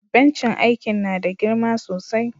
Bencin aikin na da girma sosai.